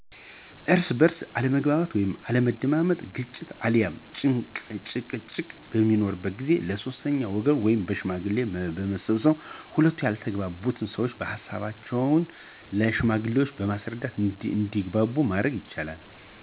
እርስ በእርስ አለመግባባት ወይም አለመደማመጥ ግጭት አልያም ጭቅጭቅ በሚኖር ጊዜ ለ ሶስተኛ ወገን ወይም ሽማግሌዎች በመሰብሰብ ሁለቱ ያልተግባቡ ሰዎች ሀሳቦቻቸውን ለ ሽማግሌዎች በማስረዳት እንዲግባቡ ማድረግ ይቻላል።